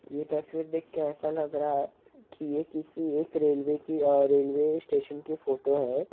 ये तस्वीर देख के ऐसा लग रहा हैं कि यह किसी एक रेलवे की अ रेलवे स्टेशन की फोटो हैं ।